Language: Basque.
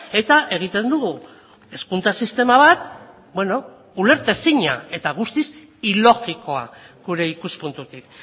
eta egiten dugu hezkuntza sistema bat ulertezina eta guztiz ilogikoa gure ikuspuntutik